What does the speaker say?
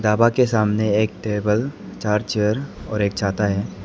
ढाबा के सामने एक टेबल चार चेयर और एक छाता है।